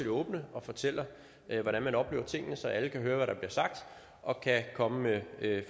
åbne og fortæller hvordan man oplever tingene så alle kan høre hvad der bliver sagt og kan komme med